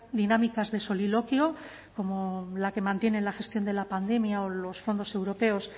dinámicas de soliloquio como la que mantiene en la gestión de la pandemia o los fondos europeos